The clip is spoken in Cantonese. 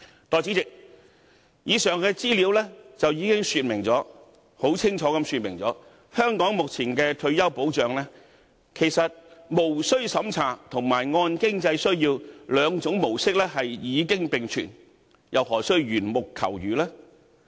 代理主席，以上資料已經清楚說明，在香港目前的退休保障中，無須審查及按經濟需要兩種模式都已經並全，又何須緣木求魚呢？